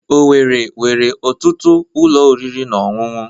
Owerri nwere ọtụtụ ụlọ oriri na ọṅụṅụ.